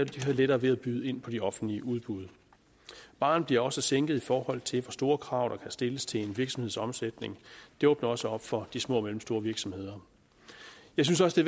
de have lettere ved at byde ind på de offentlige udbud barren bliver også sænket i forhold til hvor store krav der kan stilles til en virksomheds omsætning det åbner også op for de små og mellemstore virksomheder jeg synes også det